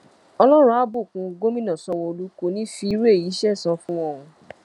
ọlọ́run á bùkún gómìnà sanwóolú kò ní í fi irú èyí sẹ̀san fún wọn o